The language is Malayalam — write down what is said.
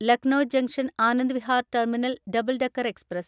Lucknow junction Anand Vihar terminal double decker express